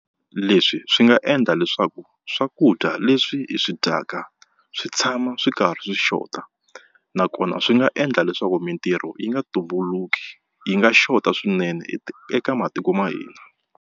Leswi swi nga endla leswaku swakudya leswi hi swi dyaka swi tshama swi karhi swi xota nakona swi nga endla leswaku mitirho yi nga tumbulukeki yi nga xota swinene eka matiko ma hina.